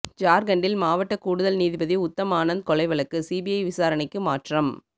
ஜார்க்கண்ட்டில் மாவட்ட கூடுதல் நீதிபதி உத்தம் ஆனந்த் கொலை வழக்கு சிபிஐ விசாரணைக்கு மாற்றம்